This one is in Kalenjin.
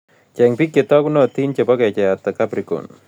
Cheng' piik che taagunotin che po kecheiyatap capricorn